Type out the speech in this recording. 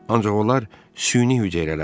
Ancaq onlar süni hüceyrələrdir.